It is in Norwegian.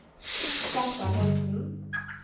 Steffen Holten